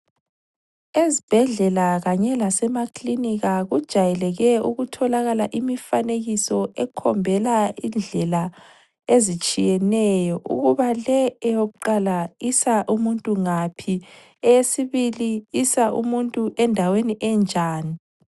Ezibhedlela kanye lasemakilinika kujayeleke ukutholakala imifanekiso ekhombela indlela ezitshiyeneyo ukuba le eyokuqala isa umuntu ngaphi. Eyesibili isa umuntu endaweni enjani.